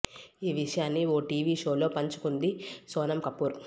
ఈ విషయాన్ని ఓ టీవీ షో లో పంచుకుంది సోనమ్ కపూర్